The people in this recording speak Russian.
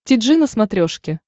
ти джи на смотрешке